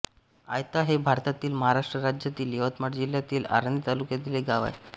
आयता हे भारतातील महाराष्ट्र राज्यातील यवतमाळ जिल्ह्यातील आर्णी तालुक्यातील एक गाव आहे